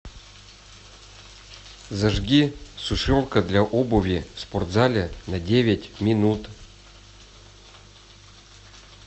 зажги сушилка для обуви в спортзале на девять минут